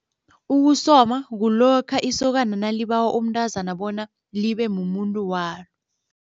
Ukusoma kulokha isokana nalibawa umntazana bona libe mumuntu walo.